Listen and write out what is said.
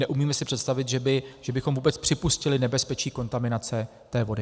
Neumím si představit, že bychom vůbec připustili nebezpečí kontaminace té vody.